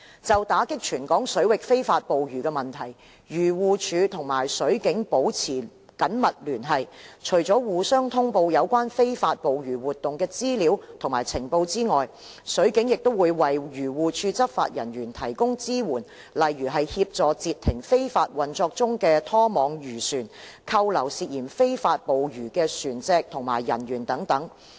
就打擊全港水域非法捕魚的問題，漁護署與水警保持緊密聯繫，除了互相通報有關非法捕魚活動的資料及情報外，水警亦為漁護署執法人員提供支援，例如協助截停非法運作中的拖網漁船、扣留涉嫌非法捕魚的船隻及人員等。